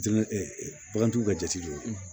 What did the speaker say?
Diinɛ ɛ bagantigiw ka jate don